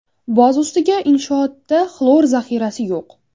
Boz ustiga inshootda xlor zaxirasi yo‘q.